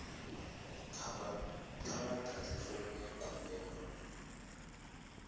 kha vha ḓadze fomo ya khumbelo